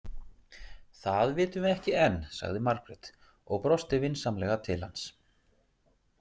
Það vitum við ekki enn, sagði Margrét og brosti vinsamlega til hans.